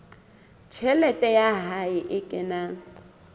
tjhelete ya hae e kenang